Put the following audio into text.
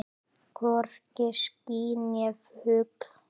Hvorki ský né fugl.